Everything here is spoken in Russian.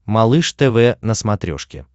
малыш тв на смотрешке